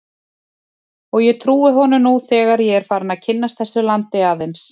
Og ég trúi honum nú þegar ég er farinn að kynnast þessu landi aðeins.